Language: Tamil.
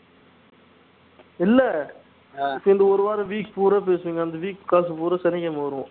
இல்ல இப்போ இந்த ஒரு வாரம் week பூரா பேசுவீங்க அந்த week காசு பூரா சனிக்கிழமை வரும்